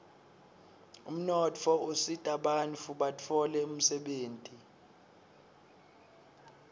umnotfo usitabantfu batfole umsebenti